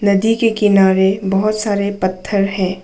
नदी के किनारे बहोत सारे पत्थर हैं।